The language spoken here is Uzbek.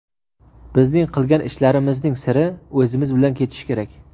bizning qilgan ishlarimizning siri o‘zimiz bilan ketishi kerak.